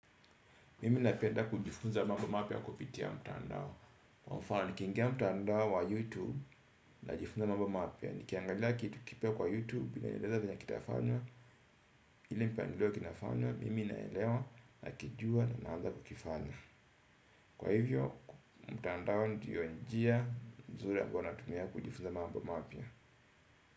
Mimi na penda kujifunza mambo mapya kupitia mtandao. Kwa mfano ni kiingia mtandao wa youtube. Na jifunza mambo mapya. Nikiangalia kitu kipya kwa youtube ina nileza vile kitafanya. Ile mpangilio kinafanya. Mimi naelewa na kijua na naanza kukifanya. Kwa hivyo mtandao ndio njia nzuri ambayo na tumia kujifunza mambo mapya.